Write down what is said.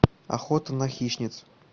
охота на хищниц